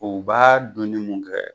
O b'a donni mun kɛ